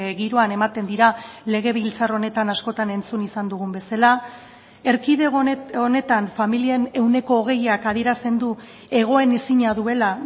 giroan ematen dira legebiltzar honetan askotan entzun izan dugun bezala erkidego honetan familien ehuneko hogeiak adierazten du egonezina duela